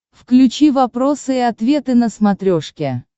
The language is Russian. включи вопросы и ответы на смотрешке